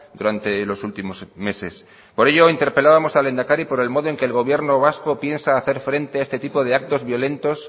durante los últimos meses por ello interpelábamos al lehendakari por el modo en que el gobierno vasco piensa hacer frente a este tipo de actos violentos